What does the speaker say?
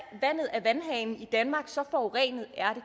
af vandhanen i danmark så forurenet er